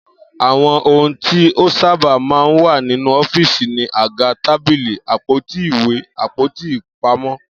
Àwo̩n ohun tí ó sábà máa ń wà nínú ó̩fíìsì ni àga, tábìlì, àpótí ìwé, àpò-ìpamó̩